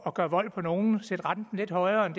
at gøre vold på nogen sætte renten lidt højere end